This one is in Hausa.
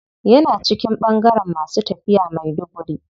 Yana cikin bangaren masu tafiya maiduguri.